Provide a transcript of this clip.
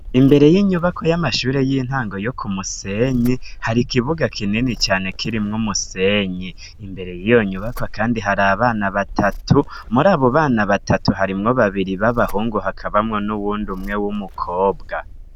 imbere y'inyubako y'amashuri y'intango yo ku musenyi hari kibuga kinini cane kiriwo mwumusenyi imbere y'iyo nyubako kandi hari abana batatu muri abu bana batatu harimwo babiri b'abahungu hakabamwo n'uwundi umwe w'umukobwa